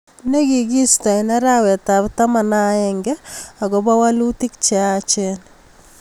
ne kikiisto eng arawet ab taman ak aenge akopo walutik che yachen.